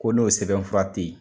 Ko n'o sɛbɛnfura te yen.